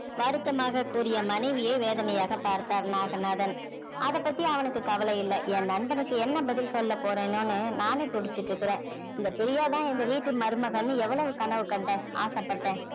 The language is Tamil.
வருத்தமாக கூறிய மனைவியை வேதனையாக பார்த்தார் நாகநாதன் அத பத்தி அவனுக்கு கவலை இல்லை என் நண்பனுக்கு என்ன பதில் சொல்லப் போறேனோன்னு நானே துடிச்சிட்டிருக்குறேன் இந்த பிரியா தான் இந்த வீட்டு மருமகள்னு எவ்வளவு கனவு கண்டேன் ஆசைப்பட்டேன்